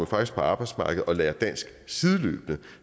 faktisk på arbejdsmarkedet og lærer dansk sideløbende